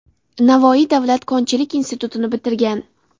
Navoiy davlat konchilik institutini bitirgan.